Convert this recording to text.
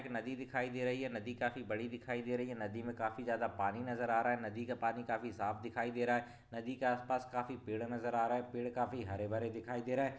एक नदी दिखाई दे रही है नदी काफी बड़ी दिखाई दे रही है नदी मे काफी ज्यादा पानी नजर आ रहा है नदी का पानी काफी साफ दिखाई दे रहा है नदी के आसपास काफी पेड़ नजर आ रहा है पेड़ काफी हरे भरे दिखाई दे रहे है।